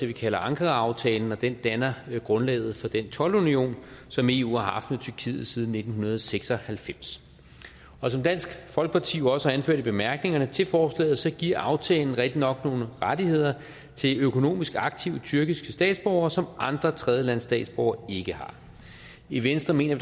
vi kalder ankaraaftalen og den danner grundlaget for den toldunion som eu har haft med tyrkiet siden nitten seks og halvfems som dansk folkeparti jo også har anført i bemærkningerne til forslaget giver aftalen rigtig nok nogle rettigheder til økonomisk aktive tyrkiske statsborgere som andre tredjelandes statsborgere ikke har i venstre mener